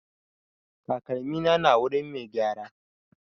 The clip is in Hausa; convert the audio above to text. Takalmina na wurin mai gyara.